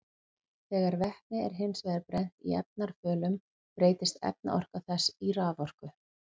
Þegar vetni er hins vegar brennt í efnarafölum breytist efnaorka þess í raforku.